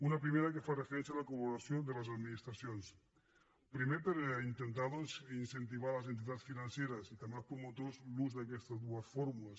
una primera que fa referència a la col·laboració de les administracions primer per intentar doncs incentivar les entitats financeres i també els promotors a l’ús d’aquestes dues fórmules